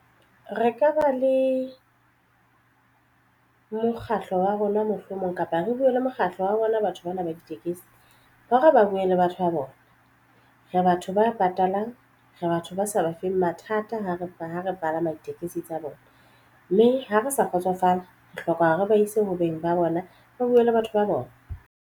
Re ka ba le mokgatlo wa rona mohlomong kapa re buwe le mokgatlo wa rona batho bana ba ditekesi ba re ba buwe le batho ba bona re ba batho ba e patalang re batho ba sa ba feng mathata ha re ha re palama ditekesi tsa bona mme ha re sa kgotsofala re hloka hore ba ise ho beng ba bona ba buwe le batho ba bona.